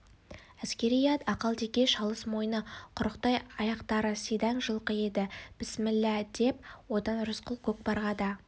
әскери ат ақалтеке шалыс мойны құрықтай аяқтары сидаң жылқы еді бісміллә деп оны рысқұл көкпарға да